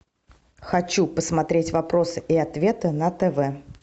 хочу посмотреть вопросы и ответы на тв